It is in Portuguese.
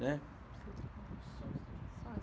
né.